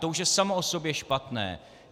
To už je samo o sobě špatné.